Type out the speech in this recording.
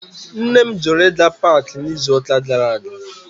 Nne m jụrụ ịga paakị n'izuụka gara aga